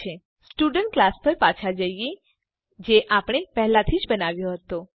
ચાલો student class પર પાછા જઈએ જે આપણે પહેલાથી જ બનાવ્યો હતો